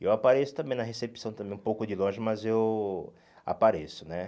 Eu apareço também na recepção também, um pouco de longe, mas eu apareço, né?